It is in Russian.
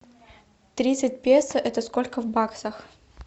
тридцать песо это сколько в баксах